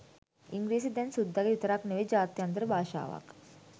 ඉංග්‍රීසි දැන් සුද්දගෙ විතරක් නෙවෙයි ජාත්‍යන්තර භාෂාවක්